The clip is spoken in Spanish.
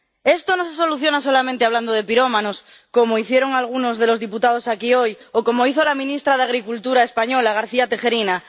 Esto no se soluciona solamente hablando de pirómanos, como hicieron algunos de los diputados aquí hoy, o como hizo la ministra de Agricultura española, la señora García Tejerina.